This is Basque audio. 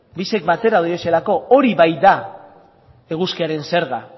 biak batera doazelako hori baita eguzkiaren zerga